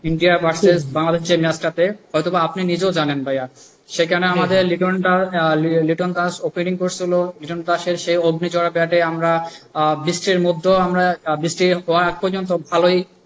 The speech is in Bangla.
ইন্ডিয়া ভার্সেস বাংলাদেশ যে match টা তে হয়তো বা আপনি নিজেও জানেন ভাইয়া সেখানে আমাদের লিটন দাস, লিটন দাস opening করছিলো হলো লিটন দাসের সেই অগ্নিঝরা ব্যাটে আমরা বৃষ্টির মধ্যেও আমরা বৃষ্টি পর আজ পর্যন্ত ভালোই,